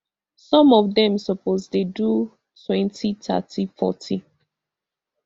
some of dem suppose dey do twenty thirty forty